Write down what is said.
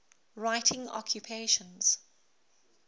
writing occupations